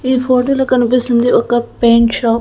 ఈ ఫోటోలో కనిపిస్తుంది ఒక పెయింట్ షాప్ .